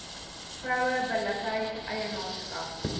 vroue billikheid eienaarskap